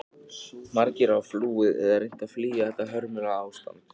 Margir hafa flúið eða reynt að flýja þetta hörmulega ástand.